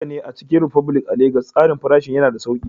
Haka ne, a Chicken republic a Legas, tsarin farashi yana da sauƙi.